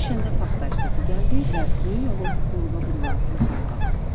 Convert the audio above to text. Yerə düşəndə partlayış səsi gəldi və böyük alov burula-burula yuxarı qalxdı.